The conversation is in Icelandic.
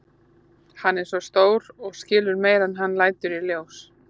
Hann er svo stór og skilur meira en hann lætur í ljós.